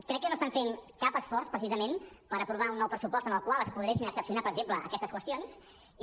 crec que no estan fent cap esforç precisament per aprovar un nou pressupost en el qual es poguessin excepcionar per exemple aquestes qüestions i